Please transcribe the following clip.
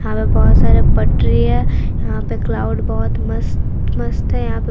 यहां पे बहोत सारे पटरी है यहां पे क्लाउड बहुत मस्त मस्त है यहां पे--